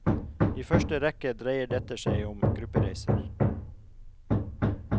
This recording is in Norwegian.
I første rekke dreier dette seg om gruppereiser.